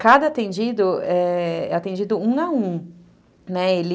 Cada atendido é atendido um a um, né, ele...